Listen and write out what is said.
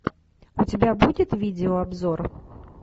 у тебя будет видеообзор